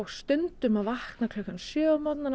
stundum að vakna klukkan sjö